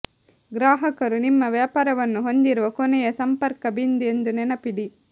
ಗ್ರಾಹಕರು ನಿಮ್ಮ ವ್ಯಾಪಾರವನ್ನು ಹೊಂದಿರುವ ಕೊನೆಯ ಸಂಪರ್ಕ ಬಿಂದು ಎಂದು ನೆನಪಿಡಿ